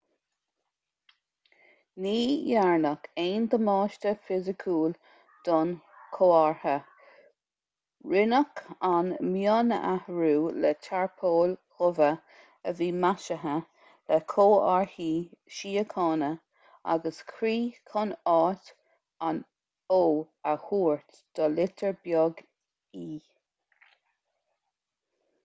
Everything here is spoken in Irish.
ní dhearnadh aon damáiste fisiciúil don chomhartha rinneadh an mionathrú le tarpóil dhubha a bhí maisithe le comharthaí síochána agus croí chun áit an o a thabhairt do litir bheag e